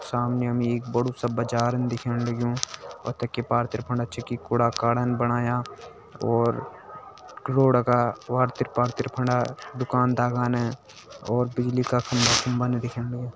सामने हमें एक बडू सा बाजार दिख्याणु लग्युं और ते पार तरीपण जी क कूड़ा-कड़ा बनाया और रोड क त्रिपा तरीपण दुकान-दकान है और बिजली का खम्बा-खुम्बा नि दिख्याणु --